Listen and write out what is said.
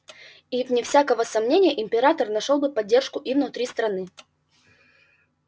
и вне всякого сомнения император нашёл бы поддержку и внутри страны